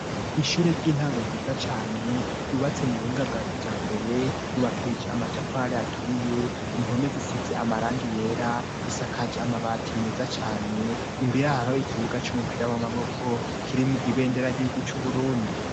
Ishure ry'intango ryiza cane ryubatse mu buhinga bwa kijambere ryubakije amatafari aturiye. Impome zisize amarangi yera, isakaje amabati meza cane imbiraro ikibuga cy'umupira w'amaboko kirimo ibenderaryirguc Uburundi.